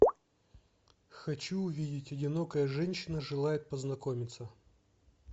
хочу увидеть одинокая женщина желает познакомиться